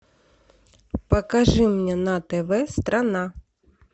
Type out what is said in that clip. покажи мне на тв страна